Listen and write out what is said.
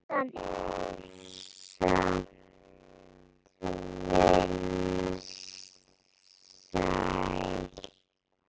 Ýsan er samt vinsæl.